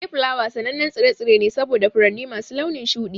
Dayflower sanannen tsire-tsire ne saboda furanni masu launin shuɗi.